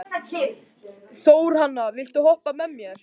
Þórhanna, viltu hoppa með mér?